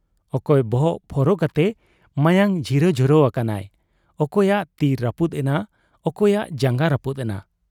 ᱚᱠᱚᱭ ᱵᱚᱦᱚᱜ ᱯᱷᱚᱨᱚ ᱠᱟᱛᱮ ᱢᱟᱭᱟᱝ ᱡᱷᱤᱨᱚ ᱡᱷᱚᱨᱚ ᱟᱠᱟᱱᱟᱭ, ᱚᱠᱚᱭᱟᱜ ᱛᱤ ᱨᱟᱹᱯᱩᱫ ᱮᱱᱟ, ᱚᱠᱚᱭᱟᱜ ᱡᱟᱝᱜᱟ ᱨᱟᱹᱯᱩᱫ ᱮᱱᱟ ᱾